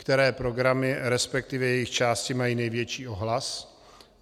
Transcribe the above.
Které programy, respektive jejich části, mají největší ohlas?